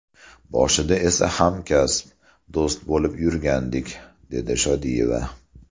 Boshida esa hamkasb, do‘st bo‘lib yurgandik”, dedi Shodiyeva.